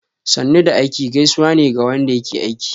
"Sannu da aiki" gaisuwa ne ga wanda yake aiki.